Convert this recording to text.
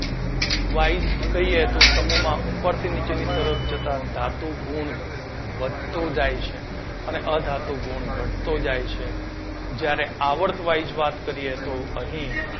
wise કહીએ તો સમુહમાં ઉપરથી નીચેની તરફ જતા ધાતુ ગુણ વધતો જાય છે. અને અધાતુ ગુણ ઘટતો જાય છે. જ્યારે આવર્ત wise વાત કરીએ તો અહીં